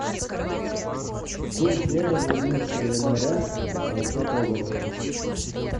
курс евро на одиннадцатое января двадцатого года